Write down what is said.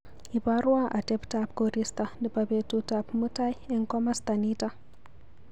Iparwa ateptap korista nebo betut ab mutai eng komasta nito.